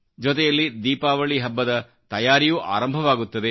ಜೊತೆಯಲ್ಲಿ ದೀಪಾವಳಿ ಹಬ್ಬದ ತಯಾರಿಯೂ ಆರಂಭವಾಗುತ್ತದೆ